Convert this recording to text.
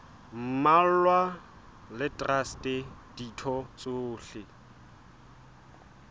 mmalwa le traste ditho tsohle